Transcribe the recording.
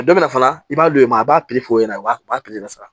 A dɔ bɛna fana i b'a don i m a b'a peforo ɲɛna a b'a pipiniyɛri sara